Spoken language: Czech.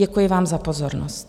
Děkuji vám za pozornost.